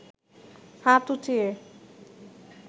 হাত উচিয়ে